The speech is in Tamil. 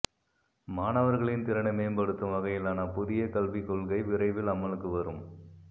மாணவர்களின் திறனை மேம்படுத்தும் வகையிலான புதிய கல்விக் கொள்கை விரைவில் அமலுக்கு வரும்